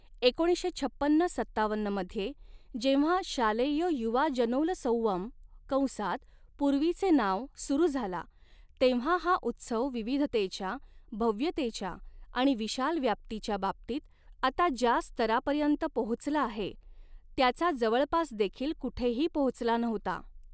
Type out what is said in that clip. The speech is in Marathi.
एकोणीसशे छपन्न सत्तावन्न मध्ये जेव्हा शालेय युवाजनोलसंवम, कंसात पूर्वीचे नाव सुरू झाला, तेव्हा हा उत्सव विविधतेच्या, भव्यतेच्या आणि विशाल व्याप्तीच्या बाबतीत आता ज्या स्तरापर्यंत पोहोचला आहे त्याचा जवळपासदेखील कुठेही पोहोचला नव्हता.